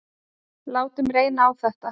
Látum reyna á þetta.